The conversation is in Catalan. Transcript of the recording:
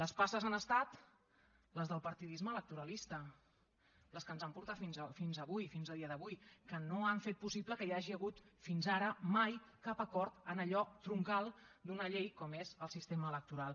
les passes han estat les del partidisme electoralista les que ens han portat fins avui fins a dia d’avui que no han fet possible que hi hagi hagut fins ara mai cap acord en allò troncal d’una llei com és el sistema electoral